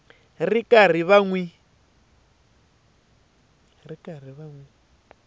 ri karhi va n wi